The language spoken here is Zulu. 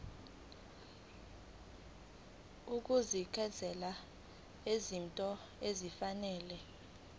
ukuhlinzeka ngezinto ezifanele